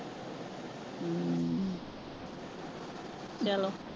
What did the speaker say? ਚਲੋ।